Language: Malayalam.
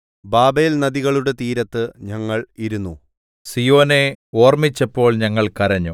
ബാബേൽനദികളുടെ തീരത്ത് ഞങ്ങൾ ഇരുന്നു സീയോനെ ഓർമ്മിച്ചപ്പോൾ ഞങ്ങൾ കരഞ്ഞു